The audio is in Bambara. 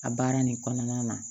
A baara nin kɔnɔna na